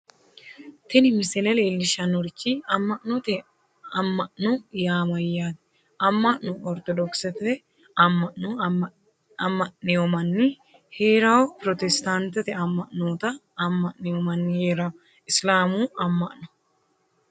tini misile leellishshannorichi amma'note, amma'no yaa mayyaate amma'no ortodokisete amma'no amma'newoo manni heerawoo pirotestaantete amma'noota amma'newoo manni heerawoo isiliminnu amma'no.